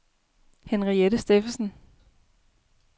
Henriette Steffensen